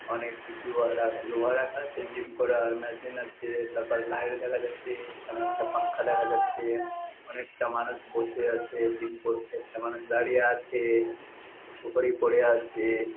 অনেক কিছু লোহা রাখা আছে জিম করার মেশিন আছেএএ তার পর লাইট দেখা যাচ্ছেএএ অনেকটা পাঙ্খা দেখা যাচ্ছে অনেকটা মানুষ বসে আছে জিম করছে কটা মানুষ দাঁড়িয়ে আছেএএএ উপরে পড়ে আছেএএএ। ।